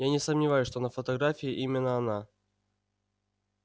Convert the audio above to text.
я не сомневаюсь что на фотографии именно она